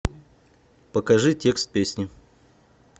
покажи текст песни